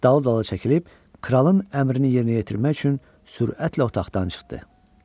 Dal-dala çəkilib kralın əmrini yerinə yetirmək üçün sürətlə otaqdan çıxdı.